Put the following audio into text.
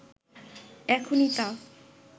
এখনই তা